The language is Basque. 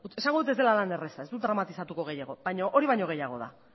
esango dut ez dela lan erraza ez dut dramatizatuko gehiago baina hori baina gehiago da